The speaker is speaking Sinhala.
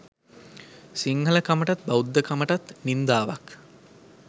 සිංහල කමටත් බෞද්ධකමටත් නින්දාවක්